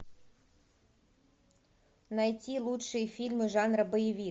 найти лучшие фильмы жанра боевик